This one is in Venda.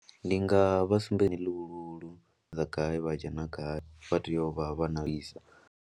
Ndi nga vha sumbedzilula dza gai vha dzhena gai vha tea u vha vha na visa.